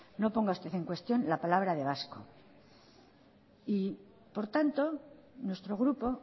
no ponga usted en cuestión la palabra de gasco y por tanto nuestro grupo